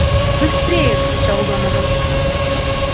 быстрее закричал донован